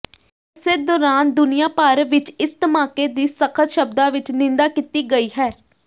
ਏਸੇ ਦੌਰਾਨ ਦੁਨੀਆ ਭਰ ਵਿੱਚ ਇਸ ਧਮਾਕੇ ਦੀ ਸਖ਼ਤ ਸ਼ਬਦਾਂ ਵਿੱਚ ਨਿੰਦਾ ਕੀਤੀ ਗਈ ਹੈ